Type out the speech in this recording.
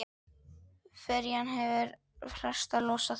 Ferjan hefur festar losað.